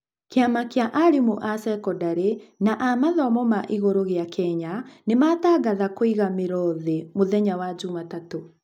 kĩama kia arimũ a cekondarĩ na a mathomo ma igũrũ gia kenya nĩmatangatha kũiga mĩro thĩ mũthenya wa jumatatũ.